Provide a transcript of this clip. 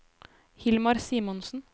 Hilmar Simonsen